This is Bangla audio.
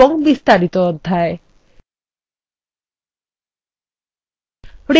এবং বিস্তারিত অধ্যায়